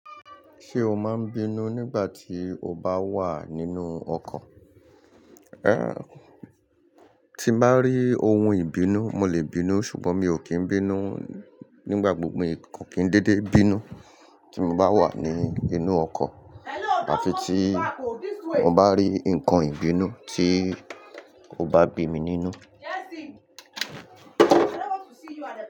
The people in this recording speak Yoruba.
Ṣé o máa ń bínú nígbà tí o bá wà nínú ọkọ̀? Rárá, tí n bá rí ohun ìbínú mo lè bínú ṣùgbọ́n mi ò kí ń bínú nígbàgbogbo. Nko kí ń dédé bínú tí mo bá wà nínú ọkọ̀ àfi tí mo bá rí ǹkan ìbínú tí ó bá bí mi nínú.